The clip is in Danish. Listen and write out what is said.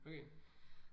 Okay